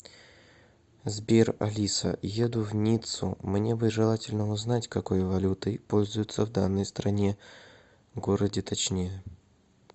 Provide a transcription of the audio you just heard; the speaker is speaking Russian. сбер алиса еду в ниццу мне бы желательно узнать какой валютой пользуются в данной стране городе точнее